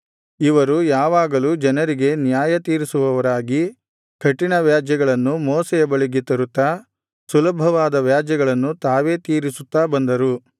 ಇವರು ಯಾವಾಗಲೂ ಜನರಿಗೆ ನ್ಯಾಯತೀರಿಸುವವರಾಗಿ ಕಠಿಣ ವ್ಯಾಜ್ಯಗಳನ್ನು ಮೋಶೆಯ ಬಳಿಗೆ ತರುತ್ತಾ ಸುಲಭವಾದ ವ್ಯಾಜ್ಯಗಳನ್ನು ತಾವೇ ತೀರಿಸುತ್ತಾ ಬಂದರು